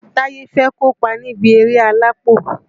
Táyé fẹ́ kópa níbi eré alápò